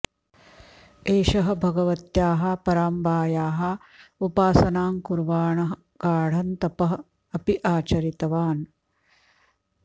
एषः भगवत्याः पराम्बायाः उपासनां कुर्वाणः गाढं तपः अपि आचरितवान्